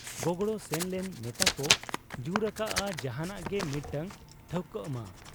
ᱜᱚᱜᱲᱚ ᱥᱮᱱ ᱞᱮᱱ ᱱᱮᱛᱟᱠᱚ ᱡᱩᱨ ᱟᱠᱟᱜ ᱟ ᱡᱟᱦᱟᱸᱱᱟᱜ ᱜᱮ ᱢᱤᱫᱴᱟᱹᱝ ᱴᱷᱟᱹᱣᱠᱟᱹᱜ ᱢᱟ ᱾